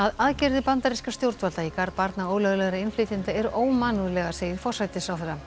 aðgerðir bandarískra stjórnvalda í garð barna ólöglegra innflytjenda eru ómannúðlegar segir forsætisráðherra